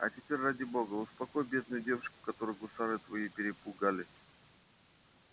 а теперь ради бога успокой бедную девушку которую гусары твои перепугали